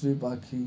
છે પાછી